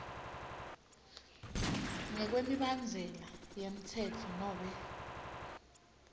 ngekwemibandzela yemtsetfo nobe